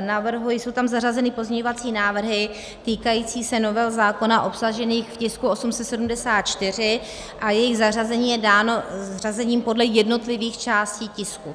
navrhuji, jsou tam zařazeny pozměňovací návrhy týkající se nového zákona obsaženého v tisku 874 a jejich zařazení je dáno řazením podle jednotlivých částí tisku.